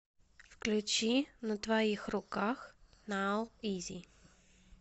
включи на твоих руках нау изи